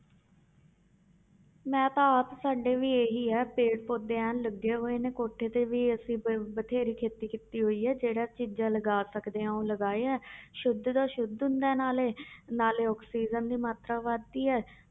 ਮੈਂ ਤਾਂ ਆਪ ਸਾਡੇ ਵੀ ਇਹੀ ਆ ਪੇੜ ਪੌਦੇ ਐਨ ਲੱਗੇ ਹੋਏ ਨੇ ਕੋਠੇ ਤੇ ਵੀ ਅਸੀਂ ਬ~ ਬਥੇਰੀ ਖੇਤੀ ਕੀਤੀ ਹੋਈ ਹੈ ਜਿਹੜਾ ਚੀਜ਼ਾਂ ਲਗਾ ਸਕਦੇ ਹਾਂ ਉਹ ਲਗਾਏ ਆ ਸੁੱਧ ਦਾ ਸੁੱਧ ਹੁੰਦਾ ਹੈ ਨਾਲੇ ਨਾਲੇ ਆਕਸੀਜਨ ਦੀ ਮਾਤਰਾ ਵੱਧਦੀ ਹੈ